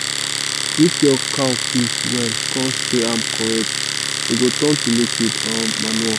if you keep cow piss well con spray am correct e go turn to liquid um manure.